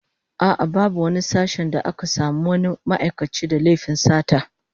A'a, babu wani sashen da aka samu wani ma'aikaci da laifin sata